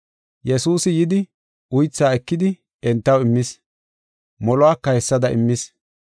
Yesuusi yidi, uythaa ekidi entaw immis; moluwaka hessada immis.